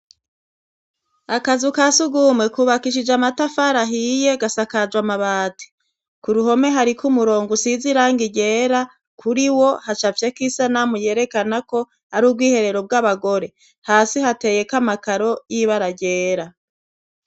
akazu kasugumwe kubakishije amatafari ahiye gasakajwe amabati ku ruhome hari ko umurongo usizirangi ryera kuri wo hacafyeko isanamu yerekana ko ari ubwiherero bwabagore hasi hateye ko amakaro yibara ryera